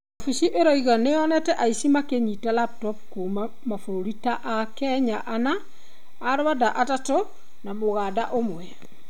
Obithi ĩraũga nĩmonete aici ma kũnyita raputopu kuuma mabũrũri ta Akenya anna, Arwanda atatũ na Mũganda ũmwe